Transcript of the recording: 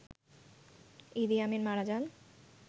ইদি Amin মারা যান